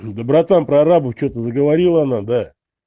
да братан прорабу что-то заговорила она да